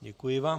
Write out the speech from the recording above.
Děkuji vám.